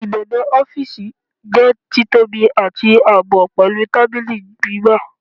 Ibebe ọfiisi jẹ titobi ati aabọ, pẹlu tabili gbigba